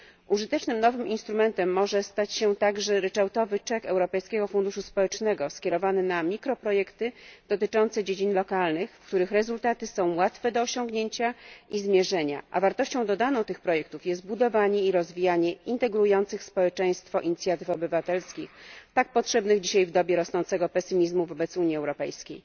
Użytecznym nowym instrumentem może stać się także ryczałtowy czek Europejskiego Funduszu Społecznego skierowany na mikroprojekty dotyczące dziedzin lokalnych, w których rezultaty są łatwe do osiągnięcia i zmierzenia, a wartością dodaną tych projektów jest budowanie i rozwijanie integrujących społeczeństwo inicjatyw obywatelskich, tak potrzebnych dzisiaj w dobie rosnącego pesymizmu wobec Unii Europejskiej.